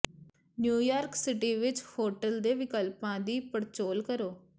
New York city ਵਿੱਚ hotel ਦੇ ਵਿਕਲਪਾਂ ਦੀ ਪੜਚੋਲ ਕਰੋ